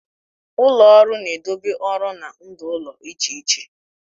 Ụlọ ọrụ na-edobe ọrụ na ndụ ụlọ iche iche.